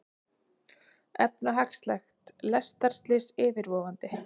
Efnahagslegt lestarslys yfirvofandi